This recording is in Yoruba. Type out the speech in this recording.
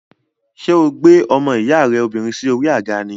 Ṣé o gbé ọmọ ìyá rẹ obìnrin sí orí àga ni?